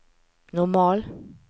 normal